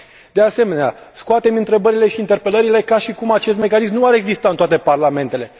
De asemenea, scoatem întrebările și interpelările ca și cum acest mecanism nu ar exista în toate parlamentele.